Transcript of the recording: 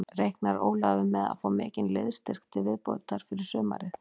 Reiknar Ólafur með að fá mikinn liðsstyrk til viðbótar fyrir sumarið?